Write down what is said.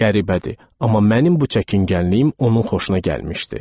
Qəribədir, amma mənim bu çəkingənliyim onun xoşuna gəlmişdi.